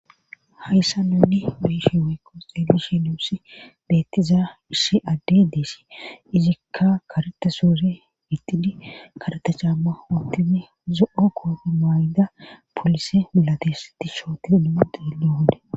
Hayssa nuuni beshe wekko xeelishi nuussi bettiza ishi addi deesi izikka kareta soore itidi kareta caamma oottine zo7o koopi maayida poolise milateessa ti shooti nimu deeli wode.